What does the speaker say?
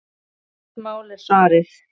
Gamalt mál, er svarið.